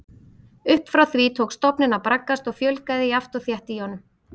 Upp frá því tók stofninn að braggast og fjölgaði jafnt og þétt í honum.